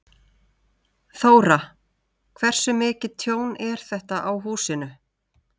Þóra: Hversu mikið tjón er þetta á húsinu?